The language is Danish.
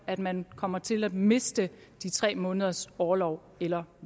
at man kommer til at miste de tre måneders orlov eller